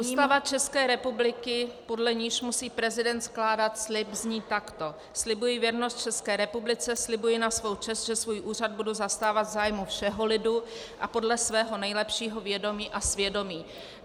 Ústava České republiky, podle níž musí prezident skládat slib, zní takto: "Slibuji věrnost České republice, slibuji na svou čest, že svůj úřad budu zastávat v zájmu všeho lidu a podle svého nejlepšího vědomí a svědomí."